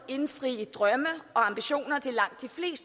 indfri drømme og ambitioner